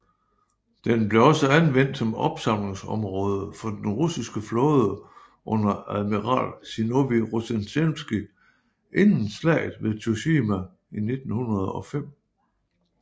Den blev også anvendt som opsamlingsområde for den Russiske flåde under admiral Zinovij Rozjestvenskij inden slaget ved Tsushima i 1905